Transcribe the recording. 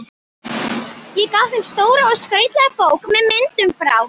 Ég gaf þeim stóra og skrautlega bók með myndum frá